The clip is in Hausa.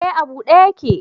Eh a bude yake